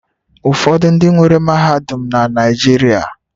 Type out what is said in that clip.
Ụfọdụ ndị nwere mahadum na Naịjirịa